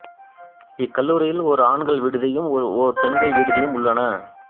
இக்கல்லூரியில் ஓர் ஆண்கள் விடுதியும் ஓர் பெண்கள் விடுதியும் உள்ளன